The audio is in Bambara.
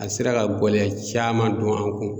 A sera ka gɔlɛya caman don an kun.